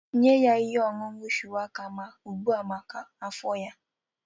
Nye ya ihe ọṅụṅụ shuwaka ugbu a maka afọ ya